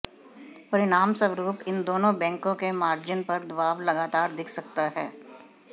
परिणामस्वरूप इन दोनों बैंकों के मार्जिन पर दबाव लगातार दिख सकता है